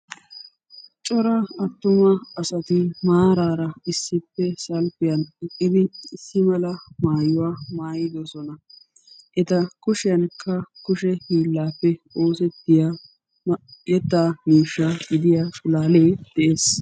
Coraa asatti maarara salppiyan salppiyan eqqidi issi mala maayuwa maayidosonna. eta kushiyankk kushee hiilappe oosettida yetta miishsha gidiya pulaalee dees.